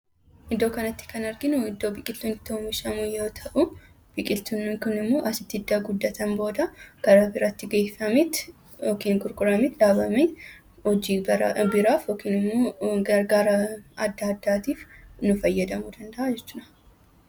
Iddoo kanatti kan arginu iddoo biqiltuun itti oomishamu yoo ta'u, biqiltuun kunimmoo asitti erga guddatan booda kara biraatti geeffameet yookiin gurgurameet, dhaabamee hojii biraaf yookiin gargaara adda addaatiif nu fayyaduu danda'a jechuudha.